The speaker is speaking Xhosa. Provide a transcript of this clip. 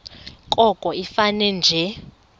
koko ifane nje